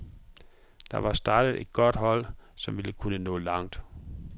Der var startet et godt hold, som ville kunne nå langt.